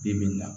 Bi bi in na